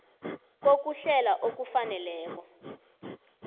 kokuhlela okufaneleko